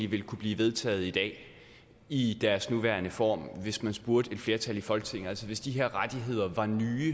ville kunne blive vedtaget i dag i deres nuværende form hvis man spurgte et flertal i folketinget altså hvis de her rettigheder var nye